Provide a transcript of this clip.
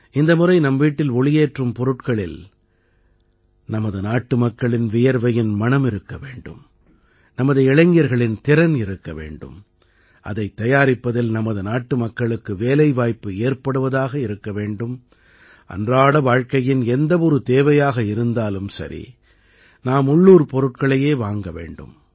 இந்த முறை நம் வீட்டில் ஒளியேற்றும் பொருட்களில் நமது நாட்டுமக்களின் வியர்வையின் மணம் இருக்க வேண்டும் நமது இளைஞர்களின் திறன் இருக்க வேண்டும் அதைத் தயாரிப்பதில் நமது நாட்டுமக்களுக்கு வேலைவாய்ப்பு ஏற்படுவதாக இருக்க வேண்டும் அன்றாட வாழ்க்கையின் எந்த ஒரு தேவையாக இருந்தாலும் சரி நாம் உள்ளூர் பொருட்களையே வாங்க வேண்டும்